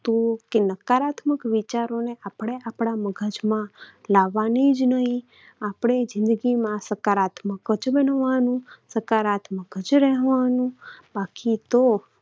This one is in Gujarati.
કે નકારાત્મક વિચારોને આપણે આપણા મગજમાં લાવવાના જ નહિ. આપણે જિંદગીમાં સકારાત્મક જ બનવાનું, સકારાત્મક જ રહેવાનું. બાકી તો